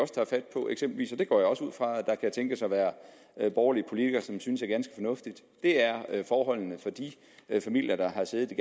det går jeg også ud fra at der kan tænkes at være borgerlige politikere som synes er ganske fornuftigt er forholdene for de familier der har siddet i